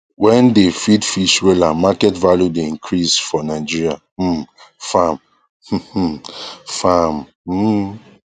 wen dey feed fish wella market value dey increase for nigeria um farm um um farm um